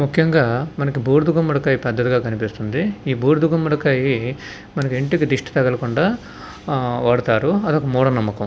ముఖ్యంగా మనకి బూడిద గుమ్మడికాయ పెద్దదిగా కనిపిస్తుంది ఈ బూడిద గుమ్మడికాయ మనకి ఇంటికి దిష్టి తగలకుండా ఆ వాడతారు అది ఒక మూడ నమ్మకం.